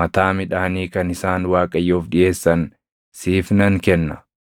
mataa midhaanii kan isaan Waaqayyoof dhiʼeessan siif nan kenna.